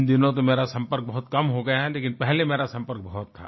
इन दिनों तो मेरा संपर्क बहुत कम हो गया है लेकिन पहले मेरा संपर्क बहुत था